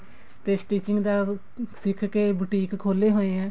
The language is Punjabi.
ਤੇ stitching ਦਾ ਸਿੱਖ ਕੇ boutique ਖੋਲੇ ਹੋਏ ਐ